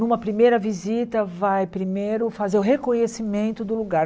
Numa primeira visita, vai primeiro fazer o reconhecimento do lugar.